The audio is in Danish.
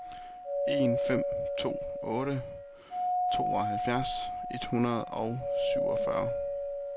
en fem to otte tooghalvfjerds et hundrede og otteogfyrre